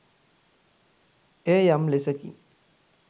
එය යම් ලෙසකින්